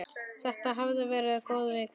Þetta hafði verið góð vika.